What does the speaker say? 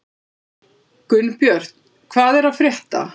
Gunnbjört, hvað er að frétta?